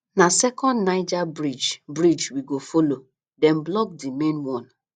na second niger bridge bridge we go folo dem block di main one